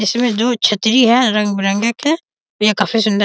इसमें जो छतरी है रंग-बिरंगी की ये काफी सुंदर --